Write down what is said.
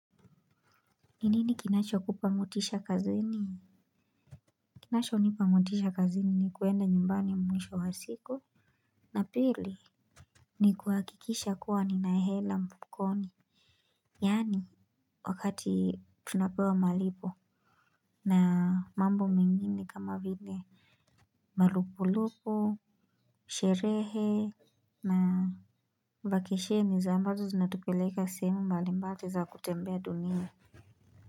Ni nini kinachokupa motisha kazini? Kinachonipa motisha kazini ni kuenda nyumbani mwisho wa siku. Na pili ni kuhakikisha kuwa nina hela mfukoni. Yaani wakati tunapewa malipo na mambo mengini kama vile marupurupu, sherehe na vakesheni za ambazo zinatupeleka sehemu mbalimbali za kutembea dunia.